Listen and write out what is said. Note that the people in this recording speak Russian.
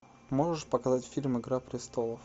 можешь показать фильм игра престолов